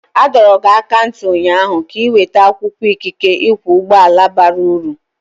A dọrọ gị aka ná ntị ụnyaahụ ka ị weta akwụkwọ ikike ịkwọ ụgbọala bara uru!